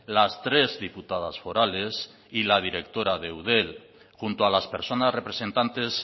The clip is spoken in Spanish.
las tres diputadas forales y la directora de eudel junto a las personas representantes